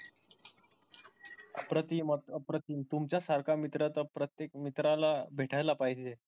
अप्रतिम अप्रतिम तुमच्या सारखा मित्र तर प्रत्येक मित्राला भेटायला पाहिजे.